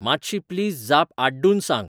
मातशी प्लीज जाप आड्डून सांग